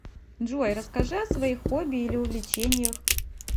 джой расскажи о своих хобби или увлечениях